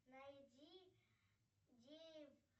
найди